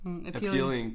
Appealing